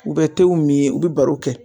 U bɛ tew mi ye u be baro kɛ